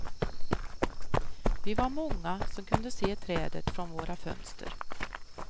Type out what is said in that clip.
Vi var många som kunde se trädet från våra fönster.